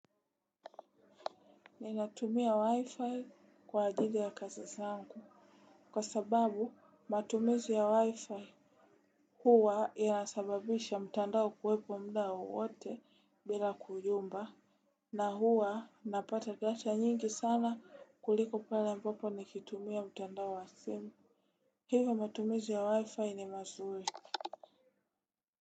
Ninatumia wi-fi kwa ajili ya kazi zangu. Kwa sababu matumizi ya waifai. Huwa inasababisha mtandao kuwepo mdao wote bila kuyumba. Na huwa napata data nyingi sana kuliko pale ambapo nikitumia mtandao wa simu. Hivo matumizi ya wi-fi ni mazuri.